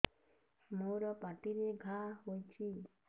ମୋର ପାଟିରେ ଘା ହେଇଚି